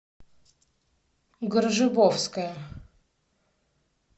гржибовская